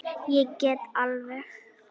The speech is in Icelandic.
Ég get alveg.